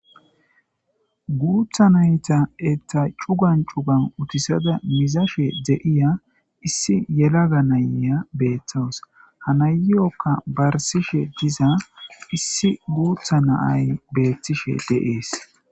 guutha nayta etta cugan cugan utisada mizashe de7iya issi yelaga nayya beeththos hanayokka barsishe diza issi guutha naay beettishe deees